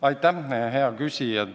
Aitäh, hea küsija!